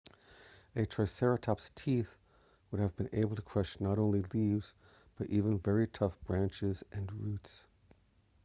a triceratops' teeth would have been able to crush not only leaves but even very tough branches and roots